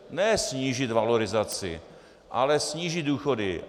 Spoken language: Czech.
Ne snížit valorizaci, ale snížit důchody.